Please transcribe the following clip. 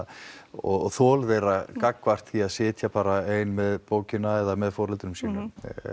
og þol þeirra gagnvart því að sitja bara ein með bókina eða með foreldrum sínum